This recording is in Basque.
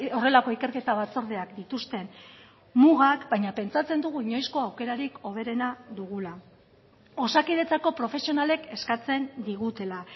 horrelako ikerketa batzordeak dituzten mugak baina pentsatzen dugu inoizko aukerarik hoberena dugula osakidetzako profesionalek eskatzen digutela